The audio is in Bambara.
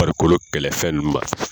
Farikolo kɛlɛfɛn ninnu ma